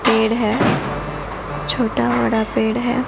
पेड़ हैं छोटा बड़ा पेड़ हैं।